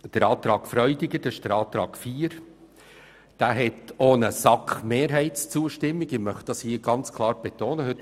Zur Planungserklärung 4 SVP/Freudiger: Diese hat auch die Zustimmung einer SAK-Mehrheit erhalten, was ich klar betonen möchte.